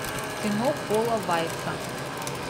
кино пола вайца